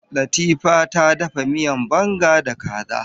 Latifa ta dafa miyan banga da kaza.